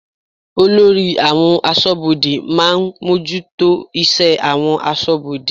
Olórí àwọn aṣọ́bodè máa ń bójútó iṣẹ́ àwọn aṣọ́bodè.